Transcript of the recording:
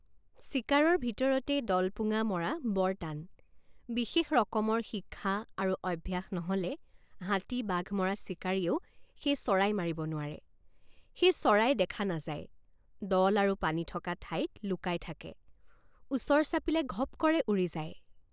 চিকাৰৰ ভিতৰতেই দলপুঙা স্নাইপ মৰা বৰ টান বিশেষ ৰকমৰ শিক্ষা আৰু অভ্যাস নহ'লে হাতীবাঘ মৰা চিকাৰীয়েও সেই চৰাই মাৰিব নোৱাৰে সেই চৰাই দেখা নাযায় দল আৰু পানী থকা ঠাইত লুকাই থাকে ওচৰ চাপিলে ঘপ কৰে উৰি যায়।